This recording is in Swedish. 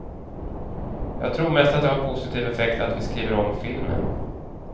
Jag tror mest att det har positiv effekt att vi skriver om filmen.